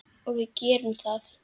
Og við gerðum það.